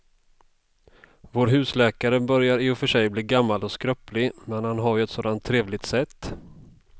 Vår husläkare börjar i och för sig bli gammal och skröplig, men han har ju ett sådant trevligt sätt!